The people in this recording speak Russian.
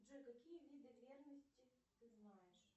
джой какие виды верности ты знаешь